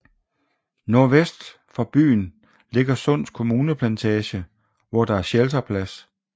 Nordvest for byen ligger Sunds Kommuneplantage hvor der er shelterplads